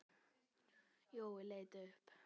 Jói leit upp.